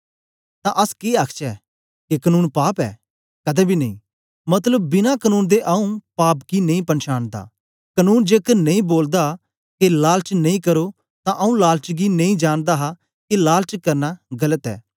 तां अस के आखचै के कनून पाप ऐ कदें बी नेई मतलब बिना कनून दे आंऊँ पाप गी नेई पछानदा कनून जेकर नेई बोलदा के लालच नेई करो तां आंऊँ लालच गी नेई जानदा के लालच करना गलत ऐ